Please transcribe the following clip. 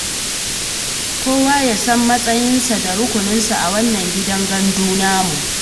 Kowa ya san matsayinsa da rukuninsa a wannan gidan gandu namu.